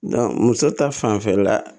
muso ta fanfɛla la